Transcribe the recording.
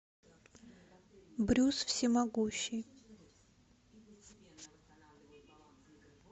брюс всемогущий